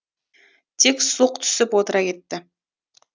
тек сұлқ түсіп отыра кетті